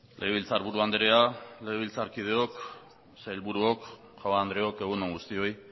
legebiltzarburu andrea legebiltzarkideok sailburuok jaun andreok egun on guztioi